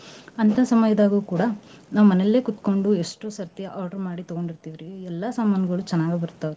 ಹಂತಾ ಸಮಯ್ದಾಗೂ ಕೂಡಾ ನಾವ್ ಮನೇಲೆ ಕೂತ್ಕೊಂಡು ಎಷ್ಟೋ ಸರ್ತಿ order ಮಾಡಿ ತಗೋಂಡೀರ್ತೆವ್ ರಿ ಎಲ್ಲಾ ಸಮಾನ್ಗಳು ಚನಾಗ್ ಬರ್ತಾವ್ ರಿ.